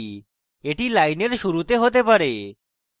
এটি লাইনের শুরুতে হতে পারে